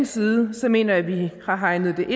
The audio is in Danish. side mener jeg at vi har hegnet